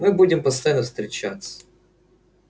мы будем постоянно встречаться